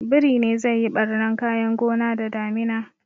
Biri ne zai yi ɓarnan kayan gona da damina